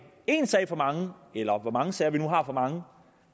en sag for meget eller hvor mange sager vi nu har for meget